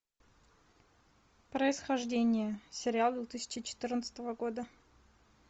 происхождение сериал две тысячи четырнадцатого года